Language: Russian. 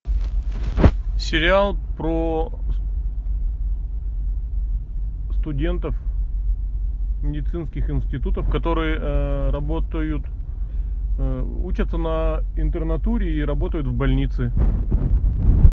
сериал про студентов медицинских институтов которые работают учатся на интернатуре и работают в больнице